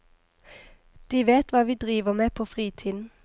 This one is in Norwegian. De vet hva vi driver med på fritiden.